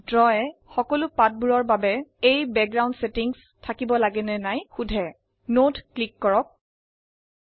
draw সকলো পাঠবোৰৰ বাবে এই বেগগ্ৰাওন্দ সেটিঙ্চ থাকে নে নাই সোধে পটভূমিৰ এই সেটিং সব পৃষ্ঠাৰ জন্য প্ৰয়োগ কৰতে হবে কিনা